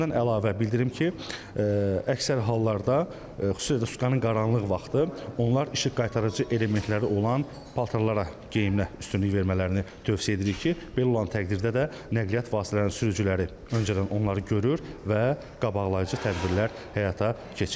Bundan əlavə bildirim ki, əksər hallarda, xüsusilə də sutkanın qaranlıq vaxtı onlar işıq qaytarıcı elementləri olan paltarlara geyinmə üstünlüyünü tövsiyə edirik ki, belə olan təqdirdə də nəqliyyat vasitələrinin sürücüləri öncədən onları görür və qabaqlayıcı tədbirlər həyata keçirilir.